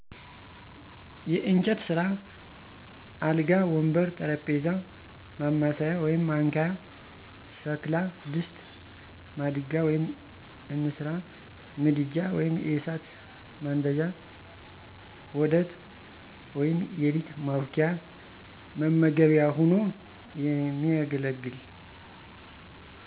የእጨት ስ፦ አልጋ፣ ወንበር፣ ጠረጴዛ፣ ማማሰያ(ማንኪያ) ሸክላ፦ ድስት፣ ማድጋ(እንስራ)፣ምድጃ(የእሳት ማንደጃ) ዋዳት(የሊጥ ማቡኪያ፣ መመገቢያ ሆኖ የሚያገለግል)